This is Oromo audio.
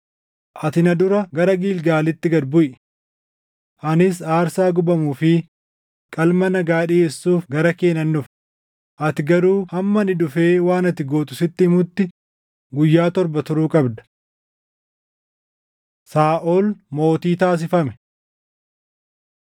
“Ati na dura gara Gilgaalitti gad buʼi. Anis aarsaa gubamuu fi qalma nagaa dhiʼeessuuf gara kee nan dhufa; ati garuu hamma ani dhufee waan ati gootu sitti himutti guyyaa torba turuu qabda.” Saaʼol Mootii Taasifame